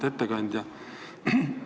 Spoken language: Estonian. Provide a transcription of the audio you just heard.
Auväärt ettekandja!